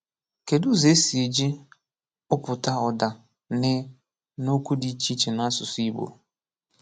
Kedu ụzọ e si eji kpụpụta ụ̀dà “n” na okwu dị iche iche n’asụsụ Igbo?